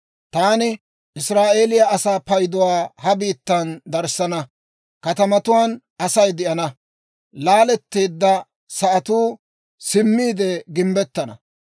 Taani Israa'eeliyaa asaa payduwaa ha biittan darissana; katamatuwaan Asay de'ana; laaletteedda sa'atuu simmiide gimbbettana.